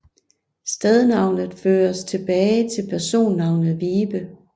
Stednavnet føres tilbage til personnavnet Wibe